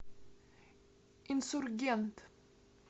инсургент